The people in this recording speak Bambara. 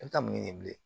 N tɛ taa mun ye bilen